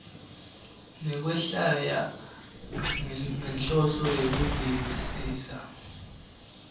nekwehlwaya ngenhloso yekuvisisa